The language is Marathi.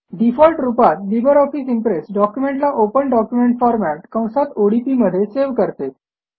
डिफॉल्ट रूपात लिबर ऑफिस इम्प्रेस डॉक्युमेंटला ओपन डॉक्युमेंट फॉर्मॅट कंसात ओडीपी मध्ये सेव्ह करते